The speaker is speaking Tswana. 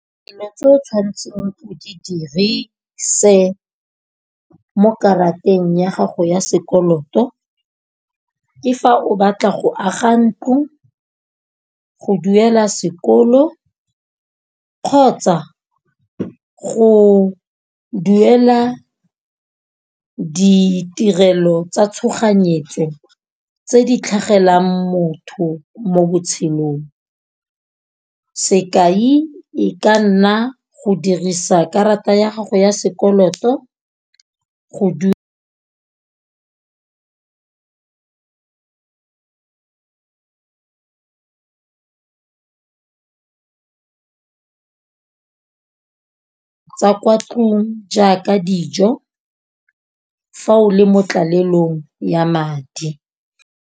Dilo tse o tshwanetse o di dirise mo karateng ya gago ya sekoloto. Ke fa o batla go aga ntlo, go duela sekolo kgotsa go duela ditirelo tsa tshoganyetso tse di tlhagellang motho mo botshelong. Sekai e ka nna go dirisa karata ya gago ya sekoloto go tsa kwa tlong, jaaka dijo fa o le mo tlalelelong ya madi.